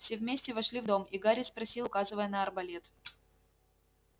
все вместе вошли в дом и гарри спросил указывая на арбалет